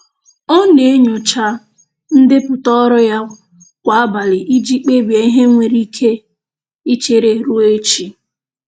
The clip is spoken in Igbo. Ọ na-enyocha ndepụta ọrụ ya kwa abalị iji kpebie ihe nwere ike ichere ruo echi.